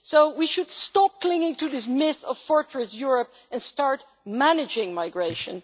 So we should stop clinging to this myth of Fortress Europe' and start managing migration.